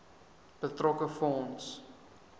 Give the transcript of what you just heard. betrokke fonds